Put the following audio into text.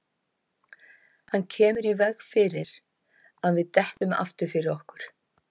Hann kemur í veg fyrir að við dettum aftur fyrir okkur.